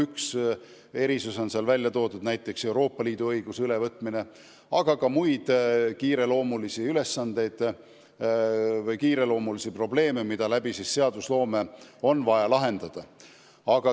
Üks välja toodud erisus on näiteks Euroopa Liidu õiguse ülevõtmine, aga on ka muid kiireloomulisi ülesandeid või kiireloomulisi probleeme, mis seadusloome kaudu on vaja lahendada.